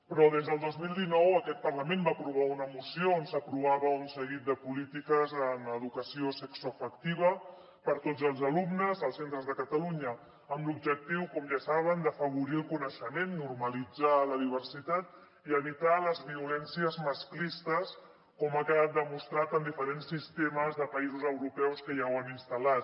però des del dos mil dinou aquest parlament va aprovar una moció on s’aprovava un seguit de polítiques en educació sexoafectiva per tots els alumnes als centres de catalunya amb l’objectiu com ja saben d’afavorir el coneixement normalitzar la diversitat i evitar les violències masclistes com ha quedat demostrat en diferents sistemes de països europeus que ja ho han instal·lat